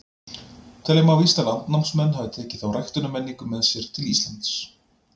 Telja má víst að landnámsmenn hafi tekið þá ræktunarmenningu með sér til Íslands.